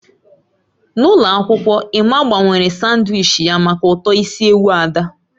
N'ụlọ akwụkwọ, Emma gbanwere sanwichi ya maka uto isi ewu Ada.